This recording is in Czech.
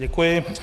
Děkuji.